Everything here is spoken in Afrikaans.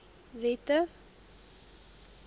wette